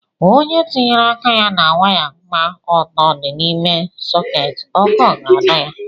onye tinyere aka na waya kpa ọtọ di n’ime soketi, ọkụ ga-adọ ya